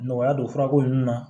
Nɔgɔya don furako ninnu na